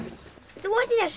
þú ert í þessu